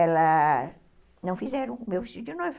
Elas não fizeram o meu vestido de noiva.